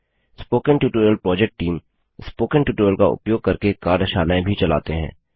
spoken tutorial project team spoken tutorial का उपयोग करके कार्यशालाएँ भी चलाते हैं